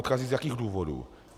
Odcházejí z jakých důvodů?